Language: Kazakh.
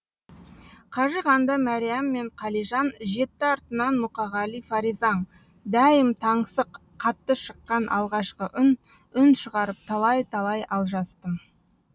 қажығанда мәриям мен қалижан жетті артынан мұқағали фаризаң дәйім таңсық қатты шыққан алғашқы үн үн шығарып талай талай алжастым